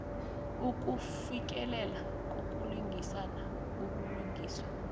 ukufikelela ngokulingana ubulungiswa